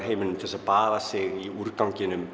heiminum til að baða sig úr úrganginum